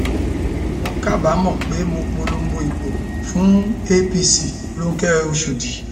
mo kábàámọ pé mo polongo ìbò fún apc ronke ọṣọdì